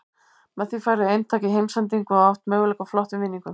Með því færðu eintak í heimsendingu og átt möguleika á flottum vinningum.